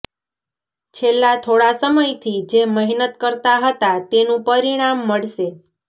છેલ્લા થોડા સમયથી જે મહેનત કરતા હતા તેનું પરિણામ મળશે